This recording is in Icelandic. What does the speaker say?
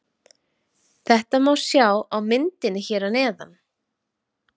Þetta má sjá á myndinni hér að neðan.